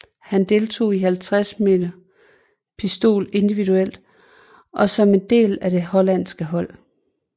Han deltog i 50 m pistol individuelt og som en del af det hollandske hold